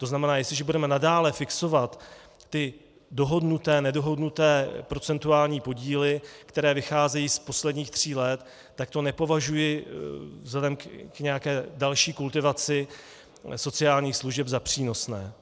To znamená, jestliže budeme nadále fixovat ty dohodnuté-nedohodnuté procentuální podíly, které vycházejí z posledních tří let, tak to nepovažuji vzhledem k nějaké další kultivaci sociálních služeb za přínosné.